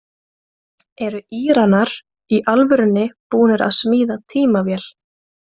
Eru Íranar í alvörunni búnir að smíða tímavél?